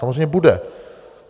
Samozřejmě bude.